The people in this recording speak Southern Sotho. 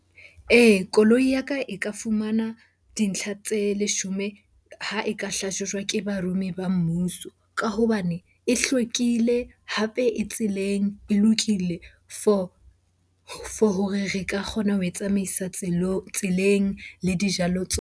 Ee, koloi ya ka e ka fumana dintlha tse leshome ha e ka hlahlojwa ke barumi ba mmuso ka hobane e hlwekile. Hape e tseleng, e lokile for hore re ka kgona ho e tsamaisa tseleng le dijalo .